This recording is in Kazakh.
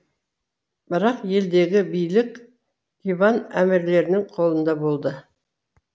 бірақ елдегі билік ливан әмірлерінің қолында болды